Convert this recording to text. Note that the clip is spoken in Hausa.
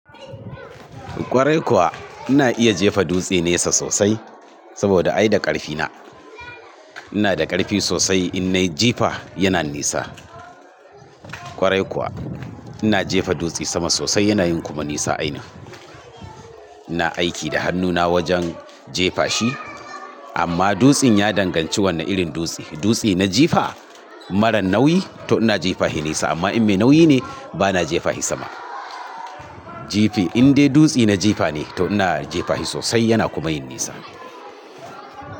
Kwarai kuwa ina iya jefa dutse nesa sosai saboda ai da ƙarfi na. Ina da ƙarfi sosai in na jefa yana nesa. Kwarai kuwa ina jefa dutse sama sosai yana yin kuma nesa a ina. Ina aiki da hannuna wajen jefa shi amma dutsen ya danganci wannan irin dutse. Dutse na jefa maran nauyi to ina jefa shi nesa amma in me nauyi ne ba na jefa shi sama. Jefa in dai dutse na jefa ne to ina jefa shi sosai yana kuma yin nesa.